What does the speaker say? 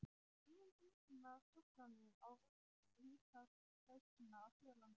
Tímabundnar truflanir á rekstri hitaveitna á Suðurlandi.